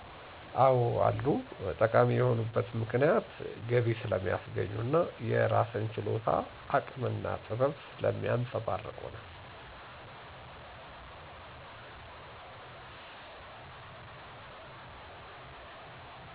አዎ አሉ። ጠቃሚ የሆኑበት ምክንያት ገቢ ስለሚያስገኙ እና የራስን ችሎታ፣ አቅም እና ጥበብ ስለሚያንፀባርቁ ነው።